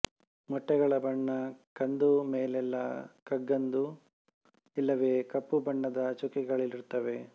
ಮೊಟ್ಟೆಗಳ ಬಣ್ಣ ಕಂದು ಮೇಲೆಲ್ಲ ಕಗ್ಗಂದು ಇಲ್ಲವೆ ಕಪ್ಪುಬಣ್ಣದ ಚುಕ್ಕೆಗಳಿರುತ್ತವೆ